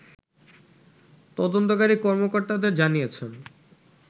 তদন্তকারী কর্মকর্তাদের জানিয়েছেন